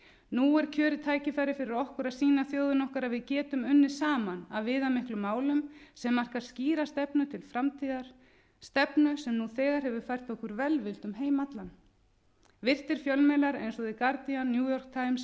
nú er kjörið tækifæri fyrir okkur að sýna þjóðinni okkar að við getum unnið saman að viðamiklum málum sem marka skýra stefnu til framtíðar stefnu sem nú þegar hefur fært okkur velvild um heim allan virtir fjölmiðlar eins og the guardian new